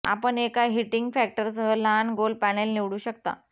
आपण एका हीटिंग फॅक्टरसह लहान गोल पॅनेल निवडू शकता